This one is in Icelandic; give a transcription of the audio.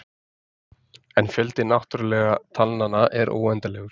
En fjöldi náttúrulegu talnanna er óendanlegur.